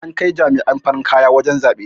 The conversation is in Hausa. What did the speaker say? an Kai jama'an farin kaya wajen zaɓe